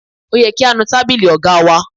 Ó yẹ kí á nu tábìlì ọ̀gá wa.